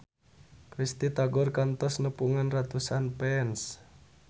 Risty Tagor kantos nepungan ratusan fans